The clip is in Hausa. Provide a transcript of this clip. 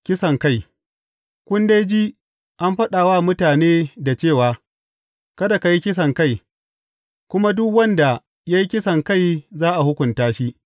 Kisankai Kun dai ji an faɗa wa mutanen dā cewa, Kada ka yi kisankai; kuma duk wanda ya yi kisankai za a hukunta shi.’